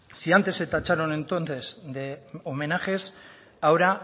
si antes se tacharon entonces de homenajes ahora